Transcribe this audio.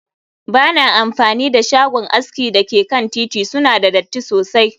Ba na amfani da shagon aski da ke kan titi, suna da datti sosai